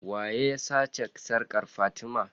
Waye ya sace sarkar fatima?